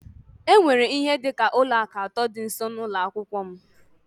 E nwere ihe dị ka ụlọ akụ atọ dị nso n'ụlọ akwụkwọ m